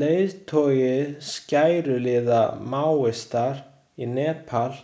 Leiðtogi skæruliða Maóista í Nepal